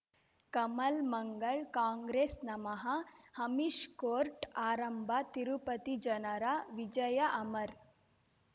ಕಮಲ್ ಮಂಗಳ್ ಕಾಂಗ್ರೆಸ್ ನಮಃ ಅಮಿಷ್ ಕೋರ್ಟ್ ಆರಂಭ ತಿರುಪತಿ ಜನರ ವಿಜಯ ಅಮರ್